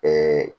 Ɛɛ